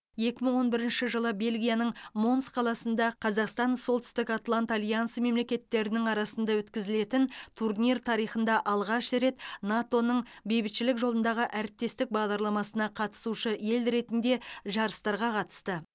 екі мың он бірінші жылы бельгияның монс қаласында қазақстан солтүстік атлант альянсы мемлекеттерінің арасында өткізілетін турнир тарихында алғаш рет нато ның бейбітшілік жолындағы әріптестік бағдарламасына қатысушы ел ретінде жарыстарға қатысты